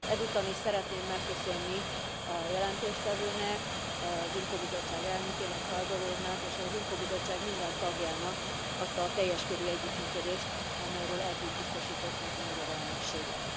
Ezúton is szeretném megköszönni a jelentéstevőnek, az IMCO bizottság elnökének, Harbour úrnak, és az IMCO bizottság minden tagjának azt a teljes körű együttműködést, amelyről eddig biztosították a magyar elnökséget.